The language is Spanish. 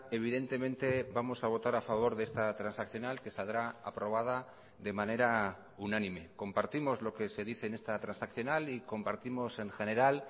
evidentemente vamos a votar a favor de esta transaccional que saldrá aprobada de manera unánime compartimos lo que se dice en esta transaccional y compartimos en general